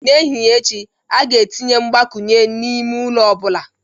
N'ehihie echi, a ga-etinye mgbakwunye n'ime ụlọ ọ bụla